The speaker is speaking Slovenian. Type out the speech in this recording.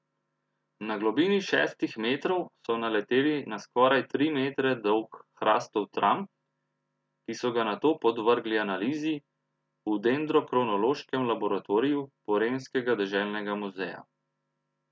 Na globini šestih metrov so naleteli na skoraj tri metre dolg hrastov tram, ki so ga nato podvrgli analizi v dendrokronološkem laboratoriju Porenskega deželnega muzeja.